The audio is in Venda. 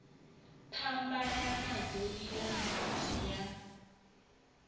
phambana nadzo iḽa mbevha ya